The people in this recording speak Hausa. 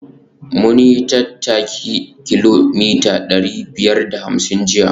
Mun yi tattaki kilomita dari biyar da ashirin jiya